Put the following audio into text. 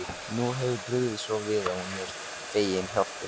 Nú hefur brugðið svo við að hún er fegin hjálpinni.